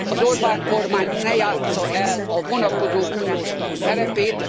Az Orbán kormány ne játssza el a vonakodó uniós tag szerepét.